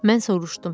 Mən soruşdum: